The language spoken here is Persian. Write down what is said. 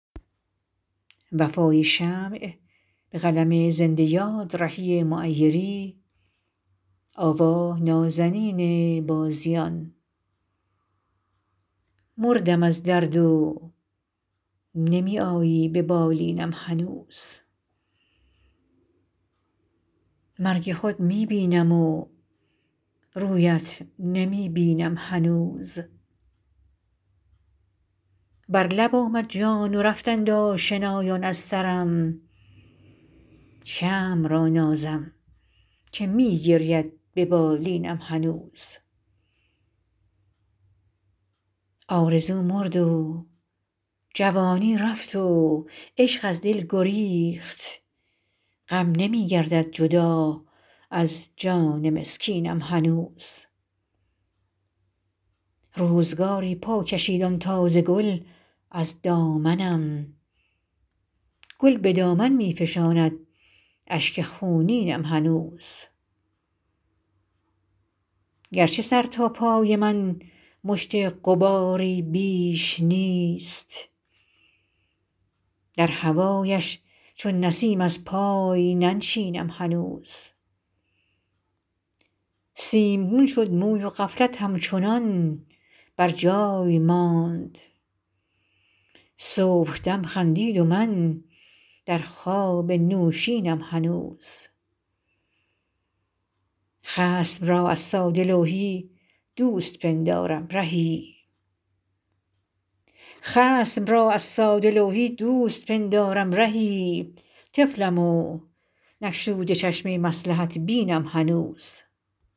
مردم از درد و نمی آیی به بالینم هنوز مرگ خود می بینم و رویت نمی بینم هنوز بر لب آمد جان و رفتند آشنایان از سرم شمع را نازم که می گرید به بالینم هنوز آرزو مرد و جوانی رفت و عشق از دل گریخت غم نمی گردد جدا از جان مسکینم هنوز روزگاری پا کشید آن تازه گل از دامنم گل به دامن می فشاند اشک خونینم هنوز گرچه سر تا پای من مشت غباری بیش نیست در هوایش چون نسیم از پای ننشینم هنوز سیمگون شد موی و غفلت همچنان بر جای ماند صبحدم خندید و من در خواب نوشینم هنوز خصم را از ساده لوحی دوست پندارم رهی طفلم و نگشوده چشم مصلحت بینم هنوز